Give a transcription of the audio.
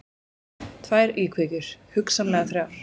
Tvær íkveikjur, hugsanlega þrjár.